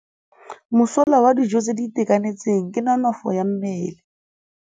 Mosola wa dijô tse di itekanetseng ke nonôfô ya mmele.